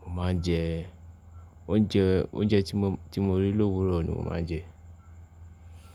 Mo máa ń jẹ oúnjẹ, oúnjẹ tí mo rí lówúrọ̀ ni mo máa ń jẹ.